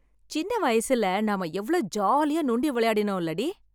சின்ன வயசுல நம்ம எவ்ளோ ஜாலியா நொண்டி வெளையாடினோ இல்லடி.